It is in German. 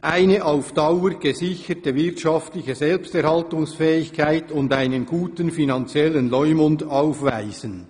«eine auf Dauer gesicherte wirtschaftliche Selbsterhaltungsfähigkeit und einen guten finanziellen Leumund aufweisen.